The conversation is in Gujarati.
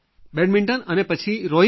બેડમિન્ટન અને પછી રોઇન્ગ